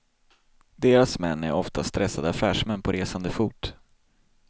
Deras män är ofta stressade affärsmän på resande fot.